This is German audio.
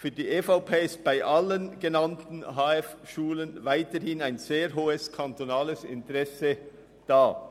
Für die EVP ist bei allen genannten HF weiterhin ein sehr hohes kantonales Interesse vorhanden.